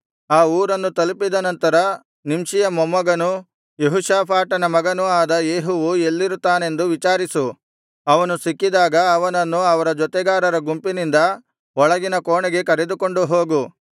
ಆ ಊರನ್ನು ತಲುಪಿದ ನಂತರ ನಿಂಷಿಯ ಮೊಮ್ಮಗನೂ ಯೆಹೋಷಾಫಾಟನ ಮಗನೂ ಆದ ಯೇಹುವು ಎಲ್ಲಿರುತ್ತಾನೆಂದು ವಿಚಾರಿಸಿ ಅವನು ಸಿಕ್ಕಿದಾಗ ಅವನನ್ನು ಅವರ ಜೊತೆಗಾರರ ಗುಂಪಿನಿಂದ ಒಳಗಿನ ಕೋಣೆಗೆ ಕರೆದುಕೊಂಡು ಹೋಗು